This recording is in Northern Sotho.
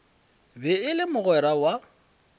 be e le mogwera wa